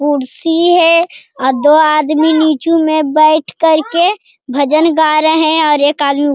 कुर्सी है अ दो आदमी नीचु में बैठ करके भजन गा रहे हैं और आदमी --